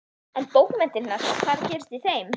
En bókmenntirnar, hvað er að gerast í þeim?